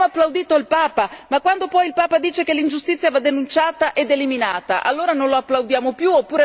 Abbiamo applaudito il Papa, ma quando poi il Papa dice che l'ingiustizia va denunciata ed eliminata allora non lo applaudiamo più?